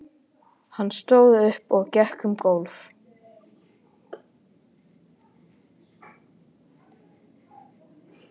Hann stóð upp og gekk um gólf.